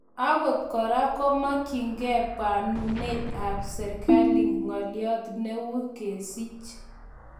okot kora, komakyingee pwanunet ap serigali , ngolyot ne uii kesich